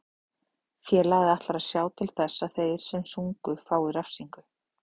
Félagið ætlar að sjá til þess að þeir sem sungu fái refsingu.